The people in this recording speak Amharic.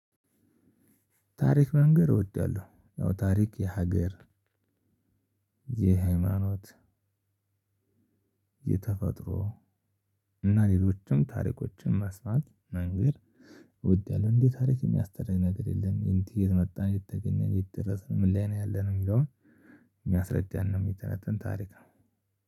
ታሪክ መንገር እወዳለሁ። አዎ ታሪክ የሀገር የሃይማኖት የተፈጥሮ እና ሌሎችም ታሪኮችን መስማት መንገር እወዳለው። እንዴት ታሪክ የሚያስተዳድር ነገር የለም? የት እየመጣን እየተገነነ እየተደረሰን? ምን ላይ ነው ያለን የሚለውን የሚያስረዳን ነው። የሚተነተን ታሪክ ነው።